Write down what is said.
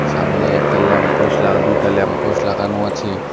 সামনে একটা lamp post লাগা দুইটা ল্যাম্প পোস্ট লাগানো আছে।